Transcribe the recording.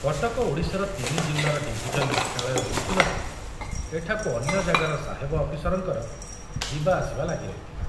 କଟକ ଓଡ଼ିଶାର ତିନି ଜିଲ୍ଲାର ଡିଭିଜନ ମୁଖ୍ୟାଳୟ ହୋଇଥିବାରୁ ଏଠାକୁ ଅନ୍ୟ ଜାଗାର ସାହେବ ଅଫିସରଙ୍କର ଯିବାଆସିବା ଲାଗି ରହିଥିଲା।